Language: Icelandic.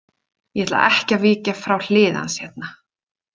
Ég ætla ekki að víkja frá hlið hans hérna.